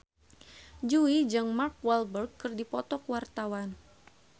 Jui jeung Mark Walberg keur dipoto ku wartawan